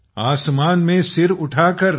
आसमान में सर उठाकर